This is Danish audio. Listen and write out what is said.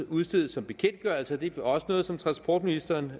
udstedes som bekendtgørelser og det er også noget som transportministeren